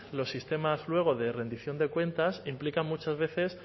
los sistemas luego de rendición de cuentas implica muchas veces